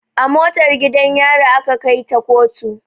A motar gidan yari aka kai ta koto